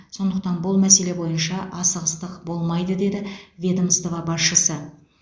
сондықтан бұл мәселе бойынша асығыстық болмайды деді ведомство басшысы